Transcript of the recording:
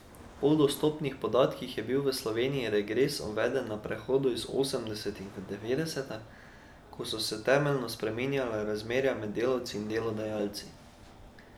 Po dostopnih podatkih je bil v Sloveniji regres uveden na prehodu iz osemdesetih v devetdeseta, ko so se temeljno spreminjala razmerja med delavci in delodajalci.